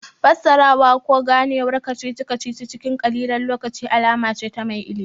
Fassarawa ko Ganewar kacici kacici cikin ƙalilan lokaci alama ce ta mai ilimi